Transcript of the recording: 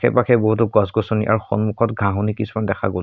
আশে-পাশে বহুতো গছ-গছনি আৰু সন্মুখত ঘাঁহনি কিছুমান দেখা গ'ল।